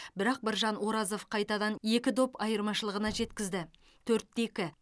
бірақ біржан оразов қайтадан екі доп айырмашылығына жеткізді төрт те екі